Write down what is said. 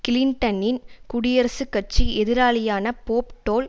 கிளின்டனின் குடியரசுக்கட்சி எதிராளியான Bob toll